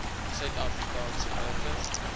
suid afrikaanse burgers